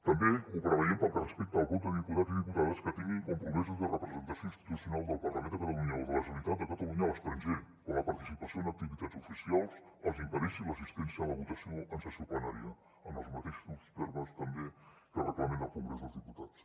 també ho preveiem pel que respecta al vot dels diputats i diputades que tinguin compromisos de representació institucional del parlament de catalunya o de la generalitat de catalunya a l’estranger on la participació en activitats oficials els impedeixi l’assistència a la votació en sessió plenària en els mateixos termes també que el reglament del congrés dels diputats